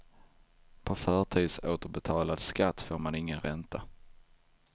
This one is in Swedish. På förtidsåterbetald skatt får man ingen ränta.